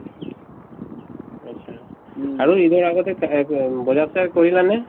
achcha আৰু ঈদৰ আগতে বজাৰ-চজাৰ কৰিলানে ?